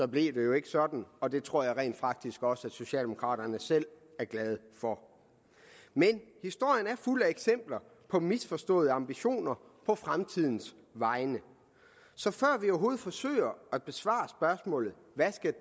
blev det jo ikke sådan og det tror jeg rent faktisk også socialdemokraterne selv er glade for historien er fuld af eksempler på misforståede ambitioner på fremtidens vegne så snart vi overhovedet forsøger at besvare spørgsmålet hvad